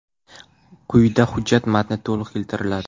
Quyida hujjat matni to‘liq keltiriladi.